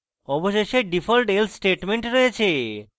অবশেষে default else statement রয়েছে